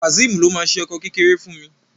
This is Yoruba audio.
Kazeem ló má ṣe ọkọ kékeré fún mí